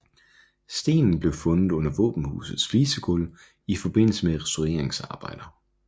Stenen blev fundet under våbenhusets flisegulv i forbindelse med restaureringsarbejder